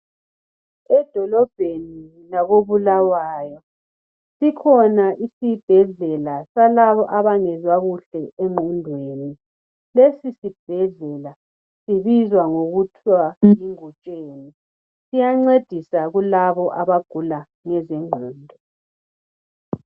Edolobheni lakoBulawayo sikhona isibhedlela salabo abangezwa kuhle engqondweni. Lesi sibhedlela sibizwa ngokuthiwa yiNgutsheni siyancedisa kulabo abagula ngezingqondo.